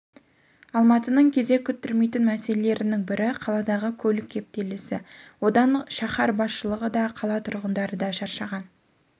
алматының кезек күттірмейтін мәселелерінің бірі қаладағы көлік кептелісі одан қшаһар басшылығы да қала тұрғындары да шаршаған